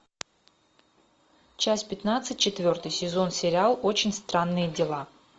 часть пятнадцать четвертый сезон сериал очень странные дела